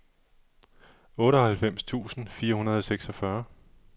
otteoghalvfems tusind fire hundrede og seksogfyrre